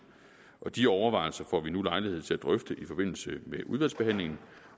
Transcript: og de overvejelser får vi nu lejlighed til at drøfte i forbindelse med udvalgsbehandlingen